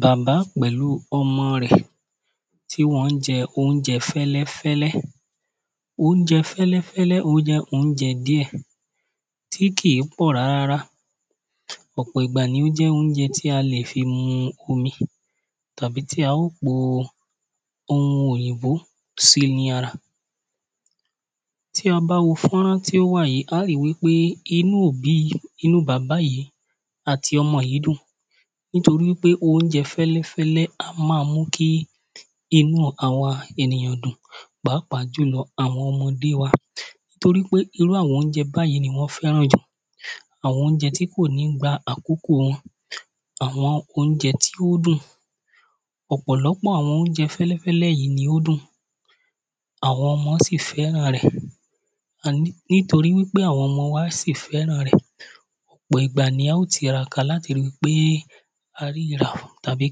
Bàbá p̀ẹĺu ọmọ r̀ẹ t́i wọn jẹ óunjẹ fẹ́lẹ́fẹ́lẹ́ óunjẹ fẹ́lẹ́fẹ́lẹ́ o jẹ́ óunjẹ diẹ́ tí kìí pọ rárá rárá ọ̀pọ̀ ìgbà ni o jẹ́ óunjẹ tí a lè fi mu omi tàbí tí a o po oun òyìnbó sí ní ara Tí a bá wo fọ́nrán ti o wa yìí, a ri wi pe, inú òbí, inú bàbá yìí àtí ọmọ yìí dùn, nitori wi pe óunjẹ fẹ́lẹ́fẹ́lẹ́ a má mu kí inú awa èǹiỳan dùn. Pàápàá julọ́ awọn ọmọdé wa nitori pe, irú awọn óunjẹ bayìí ni wọn fẹ́ràn jù. awọn óunjẹ tí ko ni gba àkókò wọn, awọn óunjẹ to dùn ọ̀pọ̀lọpọ̀ awọn óunjẹ fẹ́lẹ́fẹ́lẹ́ yìí ni o dùn, awọn ọmọ si fẹ́ràn rẹ̀ nitori wi pe awọn ọmọ wa si fẹ́ràn rẹ̀, ọ̀pọ̀ ìgbà ni a o tiraka láti ri wi pe a ri rà tàbí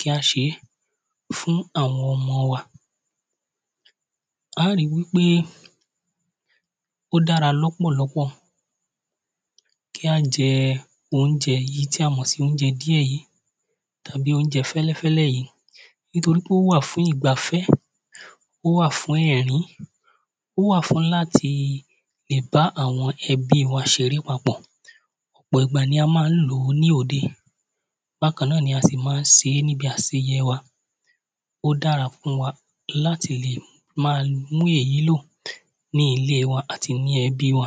kí a ṣe fún awọn ọmọ wà. A ri wi pe, o dara lọ́pọ̀lọpọ̀ kí a jẹ́ ounjẹ́ yìí tí a mọ̀ sí óunjẹ diẹ́ yìí tàbí óunjẹ fẹ́́lẹ́́fẹ́́lẹ́́ yìí nitori wi pe o wà fún ìgbáfẹ́, o wà fún ẹ̀rín, o wà fún latí le bá awọn ẹbí wa ṣe re pápọ̀ ọ̀pọ̀ ìgbà ni a máa n lòó ni ode, bakan ni a si máa n se ní aseyẹ wa. O dara fún wa lati lè má mu èyí lo ni ilé wa ati ni ẹbí wa